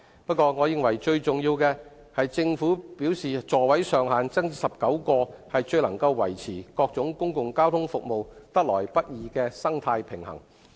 不過，我認為最重要的是，政府表示把座位上限增至19個，最能夠維持各種公共交通服務得來不易的生態平衡。